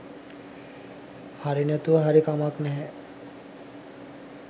හරි නැතුව හරි කමක් නැහැ